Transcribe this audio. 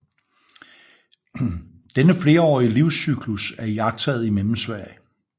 Denne flerårige livscyklus er iagttaget i Mellemsverige